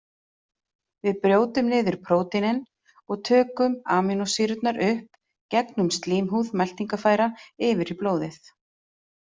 Við brjótum niður prótínin og tökum amínósýrurnar upp gegnum slímhúð meltingarfæra yfir í blóðið.